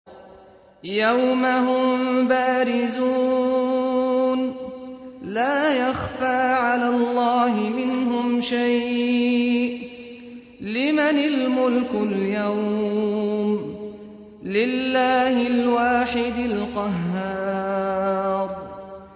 يَوْمَ هُم بَارِزُونَ ۖ لَا يَخْفَىٰ عَلَى اللَّهِ مِنْهُمْ شَيْءٌ ۚ لِّمَنِ الْمُلْكُ الْيَوْمَ ۖ لِلَّهِ الْوَاحِدِ الْقَهَّارِ